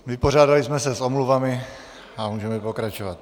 Vypořádali jsme se s omluvami a můžeme pokračovat.